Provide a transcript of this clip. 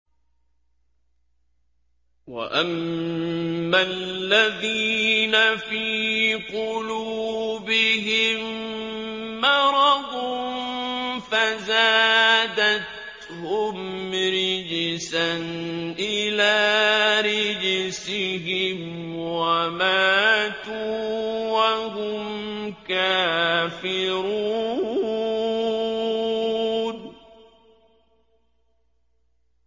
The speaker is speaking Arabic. وَأَمَّا الَّذِينَ فِي قُلُوبِهِم مَّرَضٌ فَزَادَتْهُمْ رِجْسًا إِلَىٰ رِجْسِهِمْ وَمَاتُوا وَهُمْ كَافِرُونَ